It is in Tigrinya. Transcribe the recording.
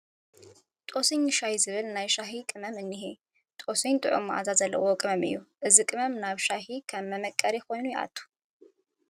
ጦስኝ ሻይ ዝብል ናይ ሻሂ ቅመም እኒሀ፡፡ ጦስኝ ጥዑም መዓዛ ዘለዎ ቅመም እዩ፡፡ እዚ ቅመም ናብ ሻሂ ከም መምቀሪ ኮይኑ ዝኣቱ እዩ፡፡